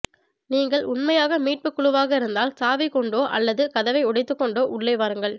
நீங்கள் உண்மையாக மீட்புக் குழுவாக இருந்தால் சாவி கொண்டோ அல்லது கதவை உடைத்துக் கொண்டோ உள்ளே வாருங்கள்